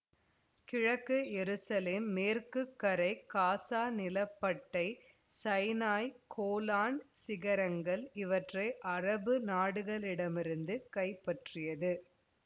கிழக்கு எருசலேம் மேற்குக்கரை காசா நிலப்பட்டை சைனாய் கோலன் சிகரங்கள் இவற்றை அரபு நாடுகளிடமிருந்து கைப்பற்றியது